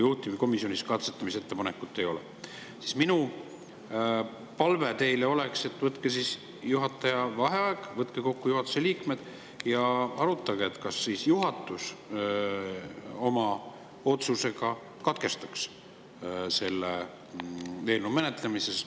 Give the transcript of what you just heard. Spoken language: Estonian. Minu palve teile oleks: võtke juhataja vaheaeg, võtke kokku juhatuse liikmed ja arutage, kas juhatus oma otsusega katkestaks selle eelnõu menetlemise.